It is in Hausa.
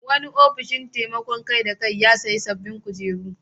Wani ofin taimakon kai-da-kai ya sayi sabbin kujeru.